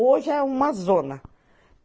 Hoje é uma zona.